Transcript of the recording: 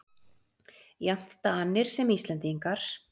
Jafnt Danir sem Íslendingar.